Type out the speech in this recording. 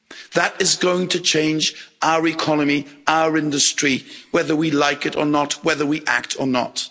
That is going to change our economy, our industry, whether we like it or not, whether we act or not.